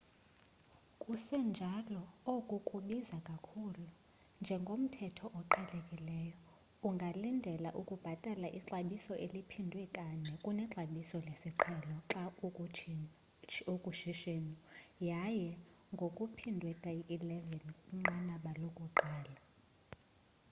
sekunjalo oku kubiza kakhulu njengomthetho oqhelekileyo ungalindela ukubhatala ixabiso eliphindwe kane kunexabiso lesiqhelo xa ukushishino yaye ngokuphindwe kayi-11 kwinqanaba lokuqala